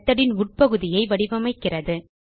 methodன் உட்பகுதியை வடிவமைக்கிறது